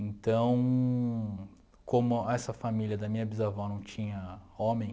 Então, como essa família da minha bisavó não tinha homem,